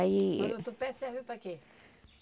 Aí... Mas o tupé serve para quê?